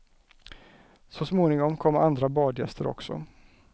Så småningom kom andra badgäster också.